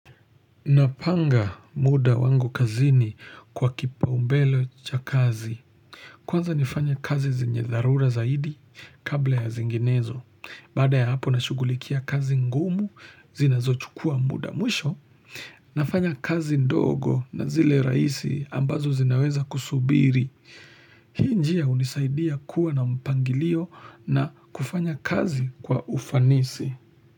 Napanga muda wangu kazini kwa kipa umbele cha kazi Kwanza nifanye kazi zenye dharura zaidi kabla ya zinginezo Baada ya hapo nashugulikia kazi ngumu zinazo chukua muda mwisho nafanya kazi ndogo na zile rahisi ambazo zinaweza kusubiri Hii njia unisaidia kuwa na mpangilio na kufanya kazi kwa ufanisi.